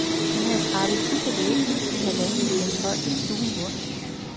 Den havde skrabet puds af væggene i halvanden meters højde stuen rundt.